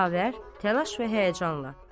Xavər təlaş və həyəcanla.